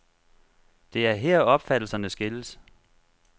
Det er her opfattelserne skilles.